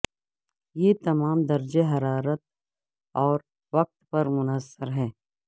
یہ تمام درجہ حرارت اور وقت پر منحصر ہے